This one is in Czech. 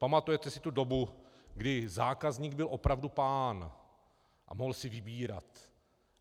Pamatujete si tu dobu, kdy zákazník byl opravdu pán a mohl si vybírat.